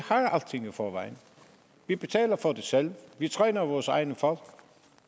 forvejen vi betaler for det selv vi træner vores egne folk